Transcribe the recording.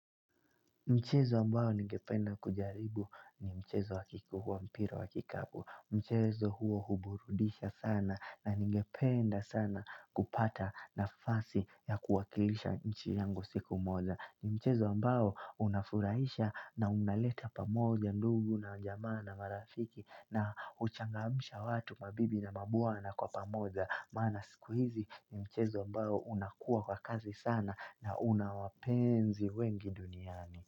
Mchezo ambao ningependa kujaribu ni mchezo wa kikubwa mpira wa kikapu. Mchezo huo huburudisha sana na ningependa sana kupata nafasi ya kuwakilisha nchi yangu siku moja. Ni mchezo ambao unafurahisha na unaleta pamoja ndugu na jamaa na marafiki na huchangamsha watu mabibi na mabwana kwa pamoja. Maana siku hizi ni mchezo ambayo unakuwa wa kazi sana na una wapenzi wengi duniani.